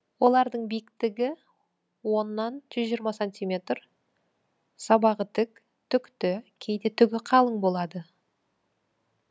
олардың биіктігі оннан жүз жиырма сантиметр сабағы тік түкті кейде түгі қалың болады